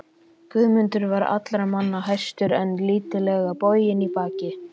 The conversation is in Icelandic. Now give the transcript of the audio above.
Guðmundur var allra manna hæstur en lítillega boginn í baki.